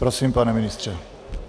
Prosím, pane ministře.